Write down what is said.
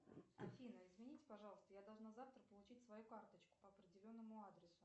афина извините пожалуйста я должна завтра получить свою карточку по определенному адресу